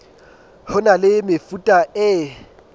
ho na le mefuta e